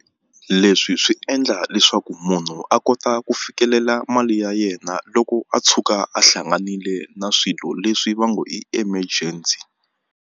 Leswi swi endla leswaku munhu a kota ku fikelela mali ya yena loko a tshuka a hlanganile na swilo leswi va ngo i emergency.